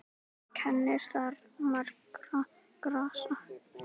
Kennir þar margra grasa.